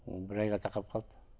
ы бір айға тақап қалды